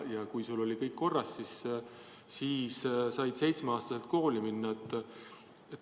Ja kui sul oli kõik korras, siis said seitsmeaastaselt kooli minna.